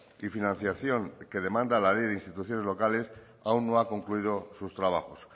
y financiación que demanda la ley de instituciones locales aún no ha concluido sus trabajos